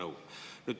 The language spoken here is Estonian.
Anna nõu.